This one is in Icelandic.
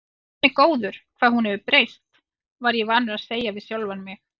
Guð minn góður, hvað hún hefur breyst, var ég vanur að segja við sjálfan mig.